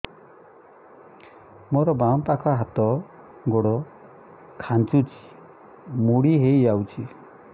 ମୋର ବାମ ପାଖ ହାତ ଗୋଡ ଖାଁଚୁଛି ମୁଡି ହେଇ ଯାଉଛି